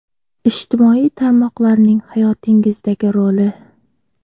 Ijtimoiy tarmoqlarning hayotingizdagi roli?